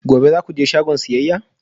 Gobe ​​za ku je shagon siyayya?